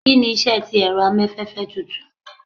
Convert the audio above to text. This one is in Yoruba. Kini iṣẹ ti ẹrọ amafẹfẹ tutù?